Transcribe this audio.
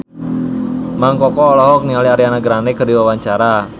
Mang Koko olohok ningali Ariana Grande keur diwawancara